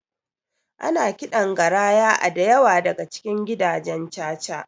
Ana kiɗan garaya a dayawa daka cikin gidajen caca